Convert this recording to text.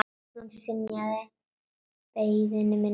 Hann synjaði beiðni minni.